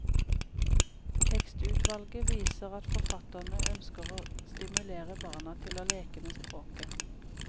Tekstutvalget viser at forfatterne ønsker å stimulere barna til å leke med språket.